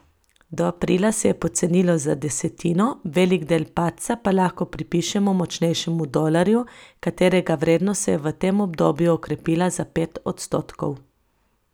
Do aprila se je pocenilo za desetino, velik del padca pa lahko pripišemo močnejšemu dolarju, katerega vrednost se je v tem obdobju okrepila za pet odstotkov.